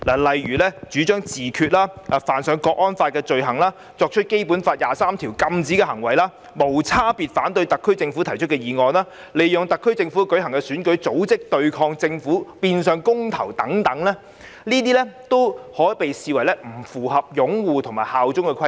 例如主張自決、犯上《香港國安法》的罪行、作出《基本法》第二十三條禁止的行為、無差別反對特區政府提出的議案、利用特區政府舉行的選舉及組織對抗政府的變相公投等，均視作不符合擁護《基本法》及效忠特區的規定。